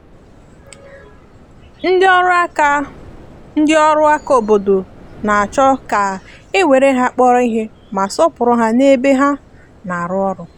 ndị ọrụ aka ndị ọrụ aka obodo na-achọ ka e were ha kpọrọ ihe ma sọọpụrụ ha n’ebe ha na-arụ ọrụ.